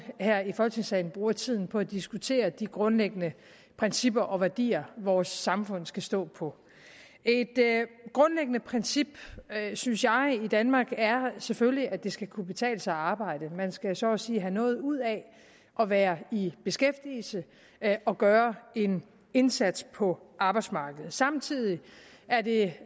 her i folketingssalen bruger tiden på at diskutere de grundlæggende principper og værdier vores samfund skal stå på et grundlæggende princip synes jeg i danmark er selvfølgelig at det skal kunne betale sig at arbejde man skal så at sige have noget ud af at være i beskæftigelse og gøre en indsats på arbejdsmarkedet samtidig er det